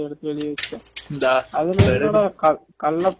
நான் tiffin box ல இருந்து எடுத்து போடும் போதே எடுத்து வெளிய வச்சுட்டேன்